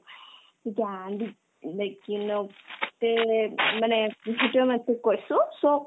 জ্ঞান is like you know তেনে মানে বস্তুতোয়ে তোক মই কৈছো so